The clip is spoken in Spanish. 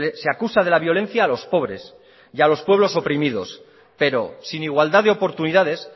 se acusa de la violencia a los pobres y a los pueblos oprimidos pero sin igualdad de oportunidades